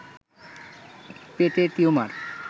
পেটে টিউমার